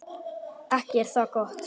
Ekki er það gott.